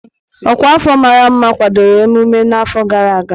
Ọkwa afọ mara mma kwadoro emume n'afọ gara aga.